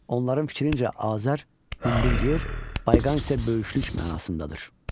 Onların fikrincə Azər, hündür yer, Bayqan isə böyüklük mənasındadır.